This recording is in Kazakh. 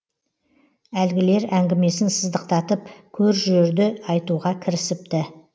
әлгілер әңгімесін сыздықтатып көр жөрді айтуға кірісіпті